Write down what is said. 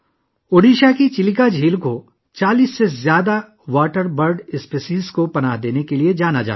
اڈیشہ کی چیلکا جھیل 40 سے زیادہ آبی پرندوں کی انواع کو پناہ دینے کے لیے جانی جاتی ہے